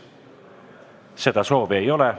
Seda soovi ei ole.